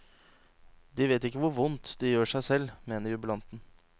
De vet ikke hvor vondt de gjør seg selv, mener jubilanten.